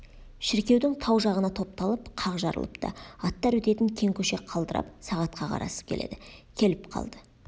шіркеудің тау жағына топталып қақ жарылыпты аттар өтетін кең көше қалдырып сағатқа қарасып келеді келіп қалды